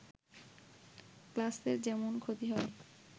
ক্লাসের যেমন ক্ষতি হয়